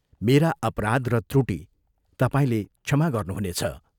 मेरा अपराध र त्रुटि तपाईंले क्षमा गर्नु हुनेछ।